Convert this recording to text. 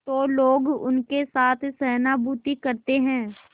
तो लोग उनके साथ सहानुभूति करते हैं